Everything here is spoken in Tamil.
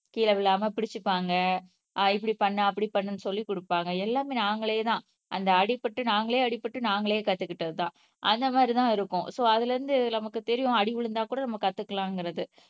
கீழே விழாம பிடிச்சுக்குவாங்க ஆஹ் இப்படி பண்ணு அப்படி பண்ணுன்னு சொல்லி கொடுப்பாங்க எல்லாமே நாங்களேதான் அந்த அடிபட்டு நாங்களே அடிபட்டு நாங்களே கத்துக்கிட்டதுதான் அந்த மாதிரிதான் இருக்கும் சோ அதுல இருந்து நமக்கு தெரியும் அடி விழுந்தா கூட நம்ம கத்துக்கலாம்ங்கிறது